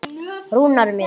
Rúnar minn.